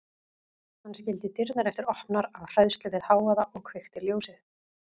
Hann skildi dyrnar eftir opnar af hræðslu við hávaða og kveikti ljósið.